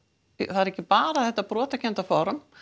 það er ekki bara þetta brotakennda form